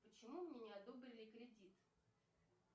почему мне не одобрили кредит